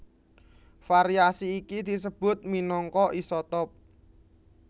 Variasi iki disebut minangka isotop